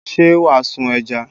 Ṣé wàá sun ẹja?